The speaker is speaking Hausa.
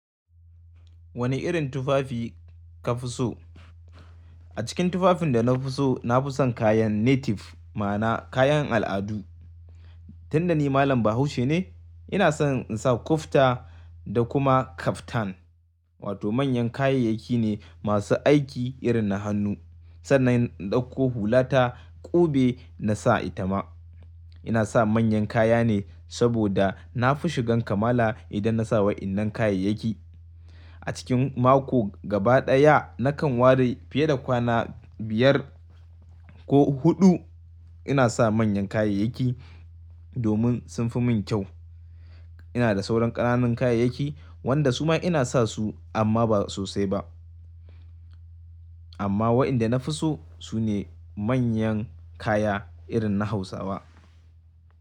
Wane irin tufafi ka fi so? A cikin tufafin da na fi so, na fi son kayan native ma'ana kayan al'adu. Tunda ni Malam Bahaushe ne, ina son in sa kufita da kuma kaftan, wato manyan kayayyaki ne masu aiki irin na hannu sannan in dauko hulata ƙube na sa ita ma. Ina sa manyan kaya ne saboda na fi shigan kamala idan na sa wa'innan kayayyaki. A cikin mako gaba ɗaya nakan ware fiye da kwana biyar ko huɗu ina sa manyan kayayyaki domin sun fi min kyau. Ina da sauran ƙananan kayayyaki wanda su ma ina sa su amma ba sosai ba. Amma wa'inda na fi so su ne manyan kaya irin na Hausawa.